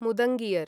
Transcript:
मुदङ्गियर्